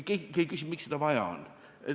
Keegi küsib, miks seda vaja on.